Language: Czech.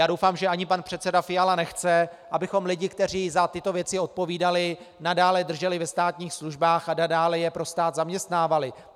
Já doufám, že ani pan předseda Fiala nechce, abychom lidi, kteří za tyto věci odpovídali, nadále drželi ve státních službách a dále je pro stát zaměstnávali.